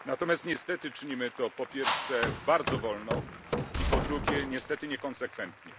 Natomiast, niestety, czynimy to po pierwsze, bardzo wolno i po drugie, niestety niekonsekwentnie.